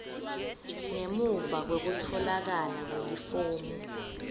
ngemuva kwekutfolakala kwelifomu